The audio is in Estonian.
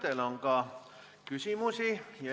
Teile on ka küsimusi.